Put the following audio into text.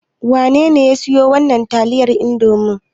Wanene ya siyo wannan taliyar Indomi ɗin?